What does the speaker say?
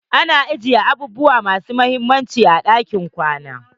AnA ajiyan abubuwa masu mahimmanci a cikin ɗakin kwana.